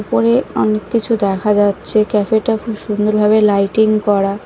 ওপরে অনেক কিছু দেখা যাচ্ছে ক্যাফেটা খুব সুন্দর ভাবে লাইটিং করা ।